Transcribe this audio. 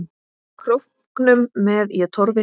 Króknum með ég torfi hleð.